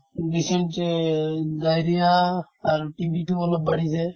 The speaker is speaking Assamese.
dysentery ,diarrhea আৰু TB তো অলপ বাঢ়িছে